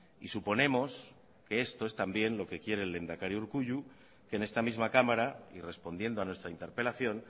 y suponemos que esto es también lo que quiere el lehendakari urkullu que en esta misma cámara y respondiendo a nuestra interpelación